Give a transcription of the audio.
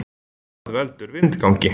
Hvað veldur vindgangi?